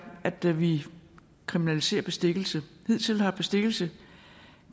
at vi kriminaliserer bestikkelse hidtil har bestikkelse